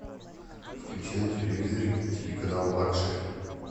включи на телевизоре телеканал лакшери